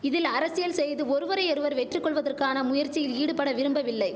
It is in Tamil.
இதில் அரசியல் செய்து ஒருவரையொருவர் வெற்றி கொள்வதற்கான முயற்சியில் ஈடுபட விரும்பவில்லை